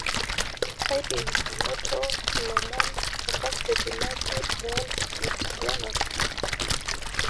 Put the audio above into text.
kadim ainoto lomon tenkazeti naaji wall street journal